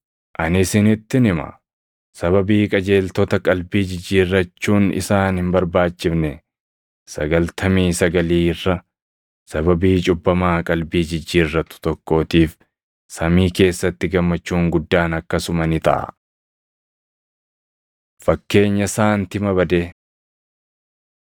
Ani isinittin hima; sababii qajeeltota qalbii jijjiirrachuun isaan hin barbaachifne sagaltamii sagalii irra sababii cubbamaa qalbii jijjiirratu tokkootiif samii keessatti gammachuun guddaan akkasuma ni taʼa. Fakkeenya Saantima Badee